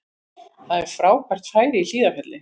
Það er frábært færi í Hlíðarfjalli